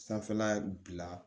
Sanfɛla bila